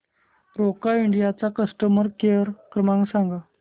Roca India चा customer care क्रमांक सांगा